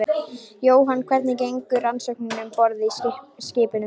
Jóhann: Hvernig gengur rannsóknin um borð í skipinu?